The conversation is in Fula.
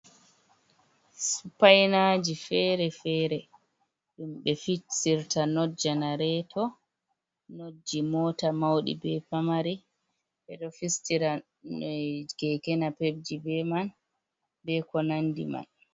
Supainaji feere-feere ɗum ɓe fistirta not janareto, not ji mota mauɗi bee pamari. Ɓe ɗo fistira keke napep ji be man, bee ko nandi man.